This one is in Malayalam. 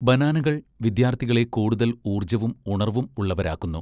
ബാനാനകൾ വിദ്യാർത്ഥികളെ കൂടുതൽ ഊർജ്ജവും ഉണർവ്വും ഉള്ളവരാക്കുന്നു.